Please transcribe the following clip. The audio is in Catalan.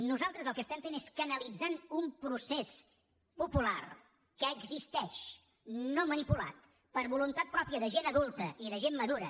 nosaltres el que fem és canalitzar un procés popular que existeix no manipulat per voluntat pròpia de gent adulta i de gent madura